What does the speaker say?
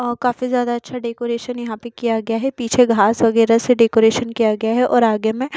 अह काफी ज्यादा अच्छा डेकोरेशन यहां पे किया गया है पीछे घास वगैरा से डेकोरेशन किया गया है और आगे में --